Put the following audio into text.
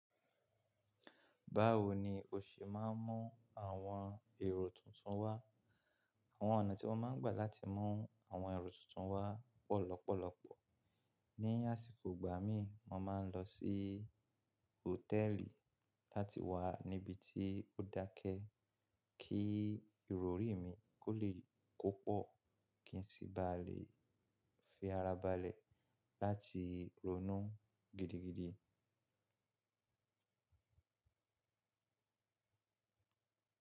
Báwo ni o ṣe máa ń mú àwọn èrò tuntun wá? Àwọn ọ̀nà tí mọ́ máa ń gbà láti mú àwọn èrò tuntun wá pọ̀ lọ́pọ̀lọpọ̀. Ní àsìkò ìgbà mí, mo máa ń lọ sí hòtẹ́ẹ́lì láti wà níbi tí ó dákẹ́ kí ìrọrí mi kó lè kó pọ̀ kí n sì bá lè fi ara balẹ̀ láti ronú gidigidi.